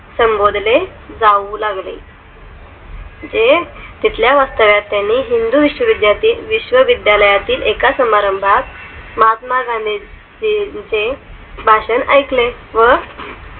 संबोधले जाऊ लागले जे तिथल्या वास्तव्यात त्यानि हिंदू विश्व्विद्यालयातील एका समारंभात महात्मा गांधीजींचे भाषण ऐकले व